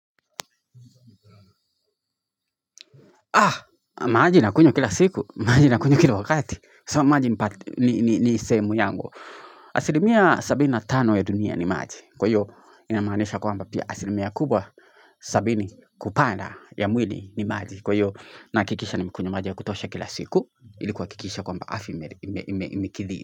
Maji nakunywa kila siku, maji nakunywa kila wakati. Sa maji ni sehemu yangu. Asilimia sabini na tano ya dunia ni maji. Kwa hiyo, inamaanisha kwamba pia asilimia kubwa, sabini kupanda ya mwili ni maji. Kwa hiyo, nahakikisha nimekunywa maji ya kutosha kila siku. Ili kuhakikisha kwamba afya imekidhi.